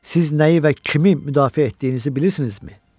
Siz nəyi və kimi müdafiə etdiyinizi bilirsinizmi?